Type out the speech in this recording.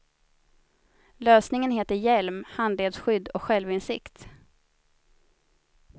Lösningen heter hjälm, handledsskydd och självinsikt.